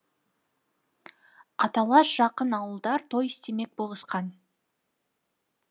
аталас жақын ауылдар той істемек болысқан